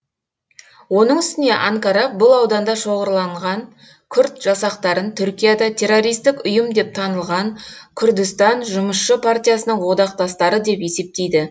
оның үстіне анкара бұл ауданда шоғырланған күрд жасақтарын түркияда террористік ұйым деп танылған күрдістан жұмысшы партиясының одақтастары деп есептейді